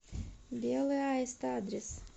белый аист адрес